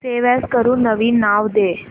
save as करून नवीन नाव दे